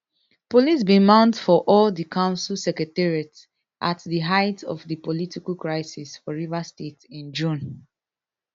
police bin mount for all di council secretariats at di height of di political crisis for rivers state in june